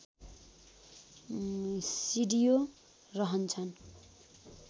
सिडिओ रहन्छन्